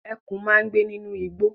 Ẹkùn máa ń gbé nínú igbó.